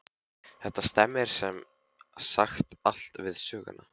Þetta stemmir sem sagt allt við söguna.